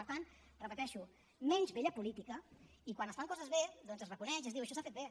per tant ho repeteixo menys vella política i quan es fan coses bé doncs es reconeix i es diu això s’ha fet bé